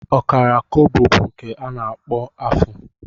Ọkara kobo bụ nke a kpọrọ afụ